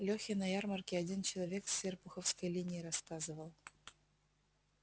лехе на ярмарке один челнок с серпуховской линии рассказывал